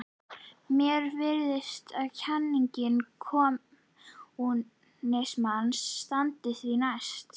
Mér virðist að kenning kommúnismans standi því næst.